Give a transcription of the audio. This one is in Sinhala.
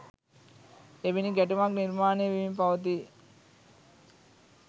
එවැනි ගැටුමක් නිර්මාණය වෙමින් පවතී.